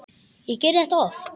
Ég geri þetta oft.